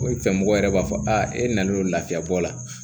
O ye fɛn mɔgɔ yɛrɛ b'a fɔ a e nalen lafiyabɔ la